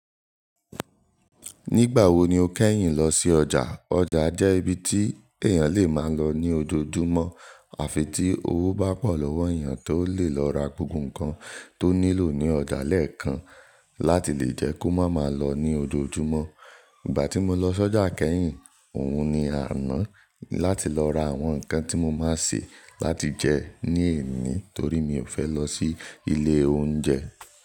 Nígbà wo ni o kẹ́yìn lọ sí ọjà? Ọjà jẹ́ ibi tí èèyàn lè máa lọ ní ojoojúmọ́ àfi tí owó bá pọ̀ lọ́wọ́ èèyàn tó lè lọ ra gbogbo nǹkan tó nílò ní ọjà lẹ́ẹ̀kan láti lè jẹ́ kó má má lọ ní ojoojúmọ́. Ìgbà tí mo lọ sọ́jà kẹ́yìn, òun ni àná láti lọ ra àwọn nǹkan tí mo máa sè láti jẹ ní èni torí mi ò fẹ́ lọ sí ilé oúnjẹ.